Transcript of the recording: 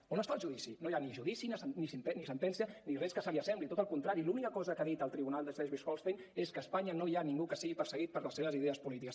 on està el judici no hi ha ni judici ni sentència ni res que se li assembli tot al con·trari l’única cosa que ha dit el tribunal de schleswig·holstein és que a espanya no hi ha ningú que sigui perseguit per les seves idees polítiques